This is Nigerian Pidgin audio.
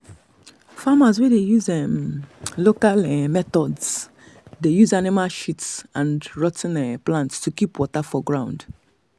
farmers wey dey use um local um local methods dey use animal shit and rot ten um plant to keep water for um ground.